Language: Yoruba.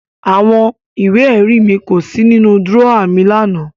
Àwọn ìwé-ẹ̀rí mi kò sí nínú dúrọ́à mi lánàá.